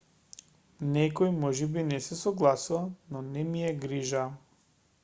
некој можеби не се согласува но не ми е грижа